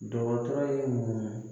Dɔgɔtɔrɔ ye mun